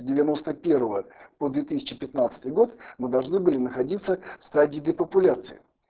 девяносто первое по две тысячи пятнадцатый год мы должны были находиться в стадии депопуляции